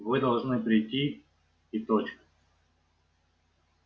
вы должны прийти и точка